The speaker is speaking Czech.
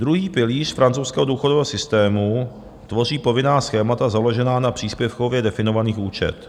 Druhý pilíř francouzského důchodového systému tvoří povinná schémata založená na příspěvkově definovaných účtech.